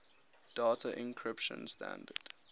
data encryption standard